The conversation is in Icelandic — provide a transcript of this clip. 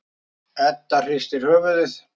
Edda hristir höfuðið.